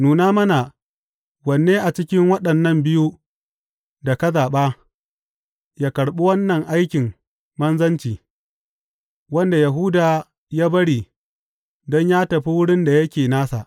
Nuna mana wanne a cikin waɗannan biyu da ka zaɓa ya karɓi wannan aikin manzanci, wanda Yahuda ya bari don yă tafi wurin da yake nasa.